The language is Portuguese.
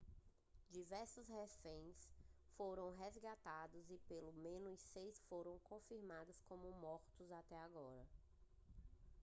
diversos reféns foram resgatados e pelo menos seis foram confirmados como mortos até agora